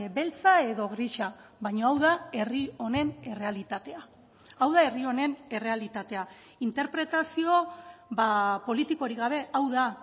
beltza edo grisa baina hau da herri honen errealitatea hau da herri honen errealitatea interpretazio politikorik gabe hau da